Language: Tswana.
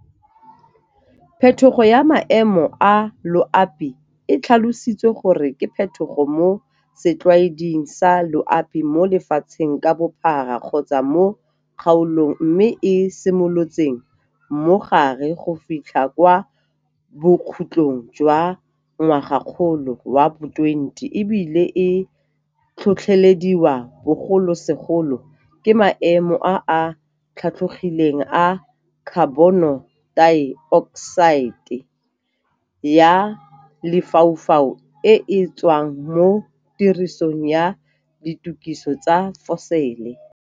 Phetogo ya maemo a loapi e tlhalosiwa gore ke phetogo mo setlwaeding sa loaping mo lefatsheng ka bophara kgotsa mo kgaolong mme e simolotseng mo gare go fitlha kwa bokhutlhong jwa ngwagakgolo wa bo 20 ebile e tlhotlhelediwa bogolosegolo ke maemo a a tlhatlogileng a khabonotaeokosaete ya lefaufau e e tswang mo tirisong ya ditukisi tsa fosele.